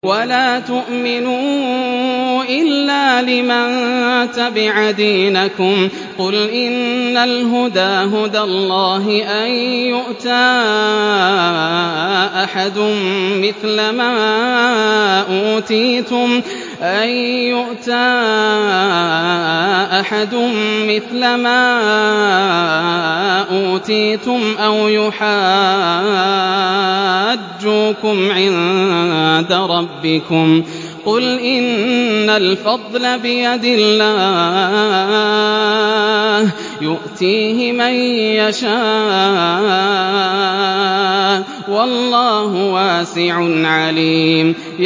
وَلَا تُؤْمِنُوا إِلَّا لِمَن تَبِعَ دِينَكُمْ قُلْ إِنَّ الْهُدَىٰ هُدَى اللَّهِ أَن يُؤْتَىٰ أَحَدٌ مِّثْلَ مَا أُوتِيتُمْ أَوْ يُحَاجُّوكُمْ عِندَ رَبِّكُمْ ۗ قُلْ إِنَّ الْفَضْلَ بِيَدِ اللَّهِ يُؤْتِيهِ مَن يَشَاءُ ۗ وَاللَّهُ وَاسِعٌ عَلِيمٌ